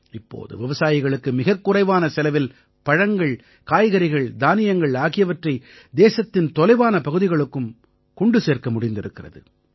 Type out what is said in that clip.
இப்போது விவசாயிகளுக்கு மிகக் குறைவான செலவில் பழங்கள் காய்கறிகள் தானியங்கள் ஆகியவற்றை தேசத்தின் தொலைவான பகுதிகளுக்கும் கொண்டு சேர்த்திருக்கிறது